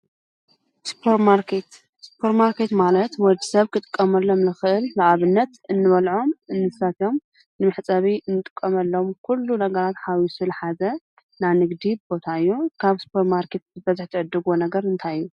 ስፓርማርኬት፦ ስፓርማርኬት ማለት ወዲሰብ ክጥቀመሎም ልኽእል ንኣብነት እንበልዖም፣ እንሰትዮም ፣መሕፀቢ እንጥቀመሎም ኩሉ ነገራት ሓዊሱ ዘሓዘ ናይ ንግዲ ቦታ እዩ ።ካብ ሱፐርማርኬት ብበዝሒ ትዕድግዎ ነገር እንታይ እዩ?